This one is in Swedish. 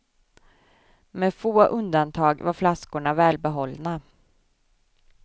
Med få undantag var flaskorna välbehållna.